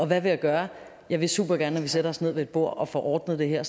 hvad vil jeg gøre jeg vil supergerne at vi sætter os ned ved et bord og får ordnet det her